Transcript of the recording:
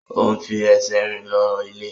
O n fi ẹsẹ̀ rìn lọ ilé.